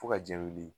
Fo ka jɛ wuli